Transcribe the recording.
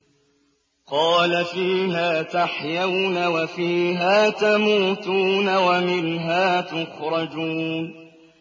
قَالَ فِيهَا تَحْيَوْنَ وَفِيهَا تَمُوتُونَ وَمِنْهَا تُخْرَجُونَ